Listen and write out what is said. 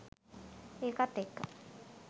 ඒකත් එක්ක